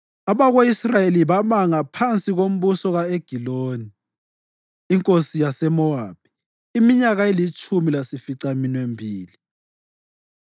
Abako-Israyeli babangaphansi kombuso ka-Egiloni inkosi yaseMowabi iminyaka elitshumi layisificaminwembili.